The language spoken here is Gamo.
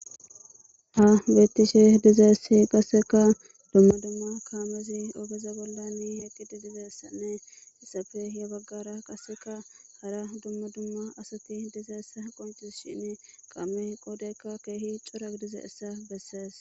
Ha bettishe dizaessi qasseka dumma dumma kaamezi oobeza bollani heqqidi dizessanne isafe ya baggara qaseka hara dumma dumma asati dizaessa qontis shin qamme qoodekka keehi curag diza essa bessees